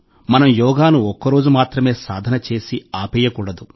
మనం యోగాను ఒక్కరోజు మాత్రమే సాధన చేసి ఆపేయకూడదు